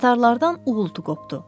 Tatarlardan uğultu qopdu.